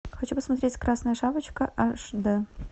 хочу посмотреть красная шапочка аш дэ